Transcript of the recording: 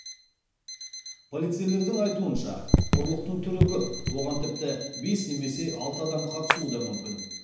полицейлердің айтуынша ұрлықтың түрі көп оған тіпті бес немесе алты адам қатысуы да мүмкін